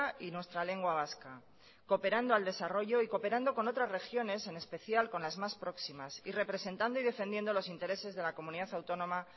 y nuestra lengua vasca cooperando al desarrollo y cooperando con otras regiones en especial con las más próximas y representando y defendiendo los intereses de la comunidad autónoma